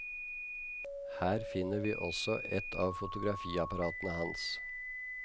Her finner vi også et av fotografiapparatene hans.